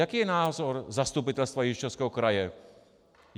Jaký je názor Zastupitelstva Jihočeského kraje?